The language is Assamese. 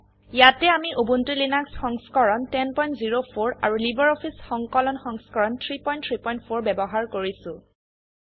ইয়াতে আমি উবুন্টু লিনাক্স সংস্কৰণ 1004 আৰু লাইব্ৰঅফিছ সংকলন সংস্কৰণ 334 ব্যবহাৰ কৰিছো